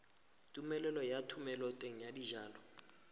tumelelo ya thomeloteng ya dijalo